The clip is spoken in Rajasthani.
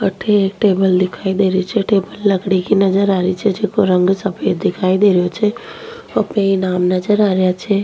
अठे एक टेबल दिखाई दे रही छे टेबल लकडी कि नजर आ रही छे जिकाे रंग सफेद दिखाई दे रियो छे अपने ही नाम नजर आ रिया छे।